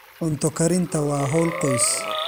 Cunto karinta waa hawl qoys.